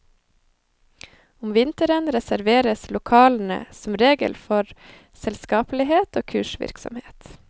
Om vinteren reserveres lokalene som regel for selskapelighet og kursvirksomhet.